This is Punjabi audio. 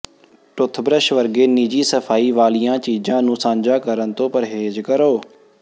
ਟੌਥਬਰੱਸ਼ ਵਰਗੇ ਨਿੱਜੀ ਸਫਾਈ ਵਾਲੀਆਂ ਚੀਜ਼ਾਂ ਨੂੰ ਸਾਂਝਾ ਕਰਨ ਤੋਂ ਪਰਹੇਜ਼ ਕਰੋ